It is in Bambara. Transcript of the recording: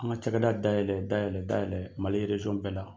An ka ca kɛ da dayɛlɛ dayalɛ dayɛlɛ Mali bɛɛ la